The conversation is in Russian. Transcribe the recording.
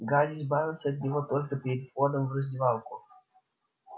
гарри избавился от него только перед входом в раздевалку